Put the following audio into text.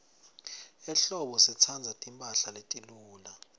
ehlobo sitsandza timphahla letiluca